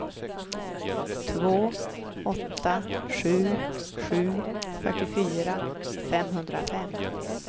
två åtta sju sju fyrtiofyra femhundrafem